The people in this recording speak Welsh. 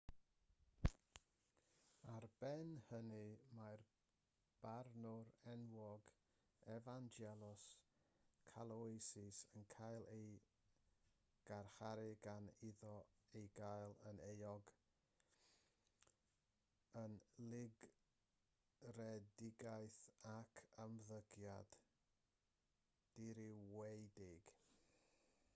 ar ben hynny mae'r barnwr enwog evangelos kalousis yn cael ei garcharu gan iddo ei gael yn euog o lygredigaeth ac ymddygiad dirywiedig